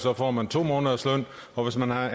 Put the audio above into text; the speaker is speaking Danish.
år får man to måneders løn og hvis man har